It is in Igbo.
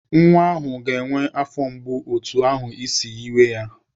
Nwa ahụ ga-enwe afọ mgbu otu ahụ isi yiwe ya.